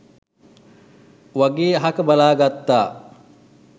වගේ අහක බලා ගත්තා.